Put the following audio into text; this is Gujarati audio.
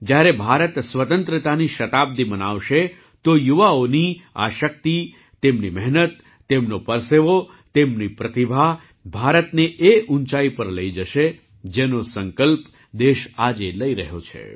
જ્યારે ભારત સ્વતંત્રતાની શતાબ્દિ મનાવશે તો યુવાઓની આ શક્તિ તેમની મહેનત તેમનો પરસેવો તેમની પ્રતિભા ભારતને એ ઊંચાઈ પર લઈ જશે જેનો સંકલ્પ દેશ આજે લઈ રહ્યો છે